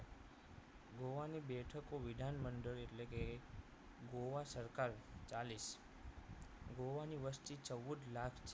ગોવાની બેઠકો વિધાનમંડળ એટલે કે ગોવા સરકાર ચાલીસ ગોવાની વસ્તી ચૌદ લાખ